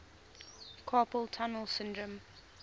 carpal tunnel syndrome